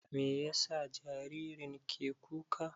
Meyasa jaririn ke kuka?